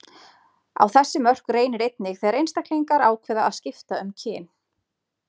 Á þessi mörk reynir einnig þegar einstaklingar ákveða að skipta um kyn.